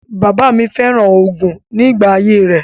Bàbáà mi féràn oògùn nígbà ayé rẹ.